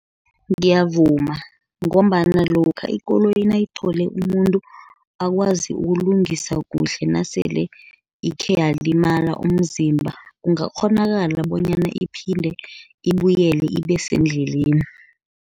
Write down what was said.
Ngiyavuma ngombana lokha ikoloyi nayithole umuntu akwazi ukulungisa kuhle, nasele ikhe yalimala umzimba, kungakghonakala bonyana iphinde ibuyele ibe sendleleni.